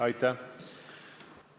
Aitäh!